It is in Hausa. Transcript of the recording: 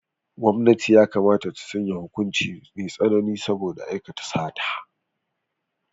Gwamnati yakamata ta sanya hukuci mai tsanani saboda aikata sata.